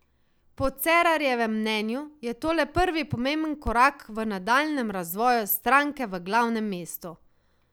Po Cerarjevem mnenju je to le prvi pomemben korak v nadaljnjem razvoju stranke v glavnem mestu.